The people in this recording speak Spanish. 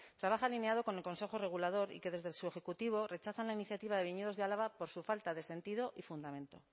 trabaja alineado con el consejo regulador y que desde su ejecutivo rechazan la iniciativa de viñedos de álava por su falta de sentido y fundamento